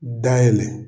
Dayɛlɛ